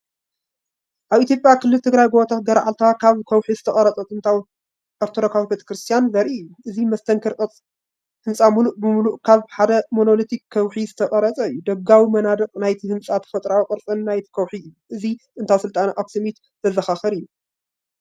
ኣብ ኢትዮጵያ ክልል ትግራይ ጎቦታት ገረኣልታ ካብ ከውሒ ዝተቐርፀ ጥንታዊ ኦርቶዶክሳዊ ቤተ ክርስቲያን ዘርኢ እዩ። እዚ መስተንክር ህንጻ ምሉእ ብምሉእ ካብ ሓደ ሞኖሊቲክ ከውሒዝተቐርጸ እዩ። ደጋዊ መናድቕ ናይቲ ህንጻ ተፈጥሮኣዊ ቅርጽን ናይቲ ከውሒእዩ። እዚ ጥንታዊ ስልጣነ ኣክሱሚትዘዘኻኽር እዩ።